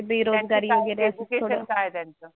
बेरोजगारी वगेरे त्यांच काय एड्युकेशन काय आहे त्यांच